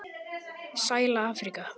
Sæla Afríka!